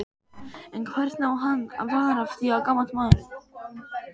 En hvernig á hann að fara að því gamall maðurinn?